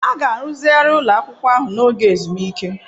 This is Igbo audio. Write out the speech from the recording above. A ga-arụzigharị ụlọ akwụkwọ ahụ n'oge ezumike.